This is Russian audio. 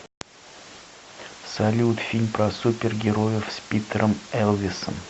салют фильм про супер героев с питерем элвисом